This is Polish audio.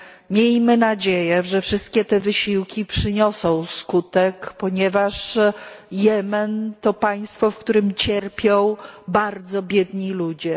Miejmy nadzieję, że wszystkie te wysiłki przyniosą skutek, ponieważ Jemen to państwo, w którym cierpią bardzo biedni ludzie.